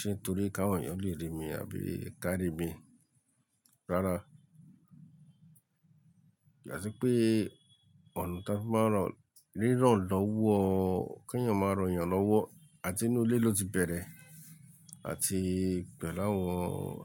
ṣe é torí kí àwọn èèyàn lè rí mi àbí ká rí mi. Rárá. Bí à ti pé ọ̀nà tí a máa ń ràn, ríran lọ́wọ́, kí ẹ̀yàn máa rán ẹ̀yàn lọ́wọ́, à ti inú ilé ló ti bẹ̀rẹ̀ àti pẹ̀lú àwọn